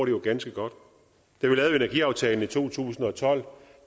jo ganske godt da vi lavede energiaftalen i to tusind og tolv